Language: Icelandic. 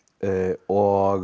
og